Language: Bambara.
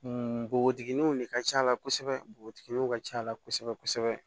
Npogotigininw de ka ca a la kosɛbɛ npogotigininw ka ca a la kosɛbɛ kosɛbɛ